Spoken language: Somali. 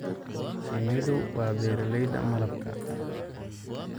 Shinnidu waa beeralayda malabka.